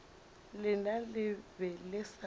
lena le be le sa